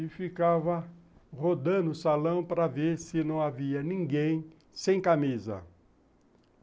e ficava rodando o salão para ver se não havia ninguém sem camisa.